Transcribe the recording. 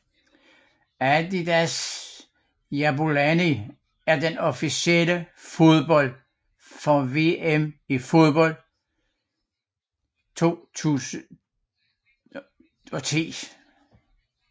Adidas Jabulani er den officielle fodbold for VM i fodbold 2010